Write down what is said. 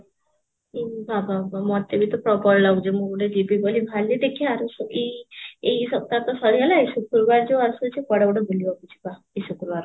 ଏ ବା ବା ବା ମତେ ବି ତ ପ୍ରବଳ ଲାଗୁଚି ମୁଁ ଗୋଟେ ଯିବି ବୋଲି ବାହାରିଲି ଦେଖିବା ଯୋଉ ଛୁଟି, ଏଇ ସପ୍ତାହ ତା ସରିଗଲା ଏଇ ଶୁକ୍ରବାର ଯୋଉ ଆସୁଛି କୁଆଡେ ଗୋଟେ ବୁଲିବାକୁ ଯିବା ଏଇ ଶୁକ୍ରବାର କୁ